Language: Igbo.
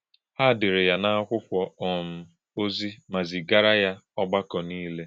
Hà̄ dè̄rè̄ yá n’àkwụ́kwọ́ um òzì̄ mà̄ zìgàrā̄ yá ọ̀gbàkọ̄ nílè.